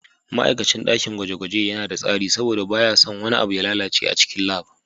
Ma'aikacin dakin gwaje-gwaje yana da tsari saboda baya son wani abu ya lalace a cikin lab.